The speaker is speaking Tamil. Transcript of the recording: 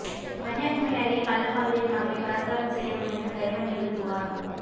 கன்னியாகுமரி அருகே கள்ளக்காதலியின் மகளை பலாத்காரம் செய்ய முயன்ற கயவன் மீது புகார்